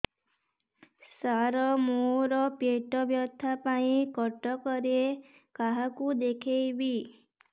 ସାର ମୋ ର ପେଟ ବ୍ୟଥା ପାଇଁ କଟକରେ କାହାକୁ ଦେଖେଇବି